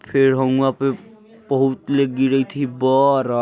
फेर हम वहॉुआ पे बहुतले गिरयित हई बरा --